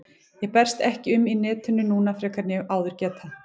Ég berst ekki um í netinu núna frekar en ég hef áður getað.